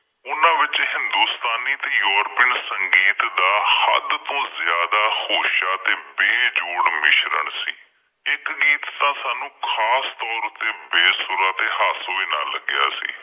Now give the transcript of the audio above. ਉਹਨਾਂ ਵਿੱਚ ਹਿੰਦੁਸਤਾਨੀ ਤੇ ਯੂਰਪੀਨ ਸੰਗੀਤ ਦਾ ਹੱਦ ਤੋਂ ਜ਼ਿਆਦਾ ਹੋਸ਼ਾ ਤੇ ਬੇਜੋੜ ਮਿਸ਼ਰਨ ਸੀ, ਇੱਕ ਗੀਤ ਤਾਂ ਸਾਨੂੰ ਖ਼ਾਸ ਤੌਰ ਤੇ ਬੇਸੁਰਾ ਤੇ ਹਾਸੋਹੀਣਾ ਲੱਗਿਆਂ ਸੀ।